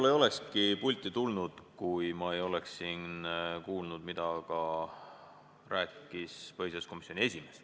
Ma ei olekski pulti tulnud, kui ma ei oleks siin kuulnud, mida rääkis põhiseaduskomisjoni esimees.